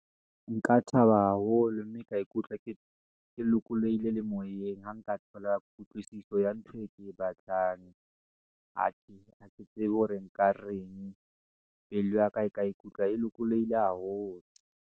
Nka thaba haholo, mme ka ikutlwa ke kele lokolohile le moyeng. Ha nka thola kutlwisiso ya ntho e ke e batlang , ha ke tsebe hore nka reng, pelo ya ka e ka ikutlwa e lokolohile haholo.